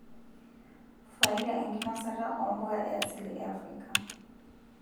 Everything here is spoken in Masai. Faida enkinosata oo mpuka easili eafrika.